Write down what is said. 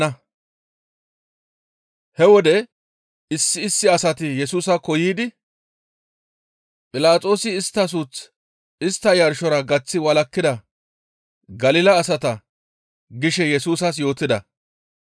He wode issi issi asati Yesusaakko yiidi, «Philaxoosi istta suuth istta yarshora gaththi walakkida Galila asata» gishe Yesusas yootida.